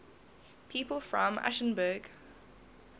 people from aschaffenburg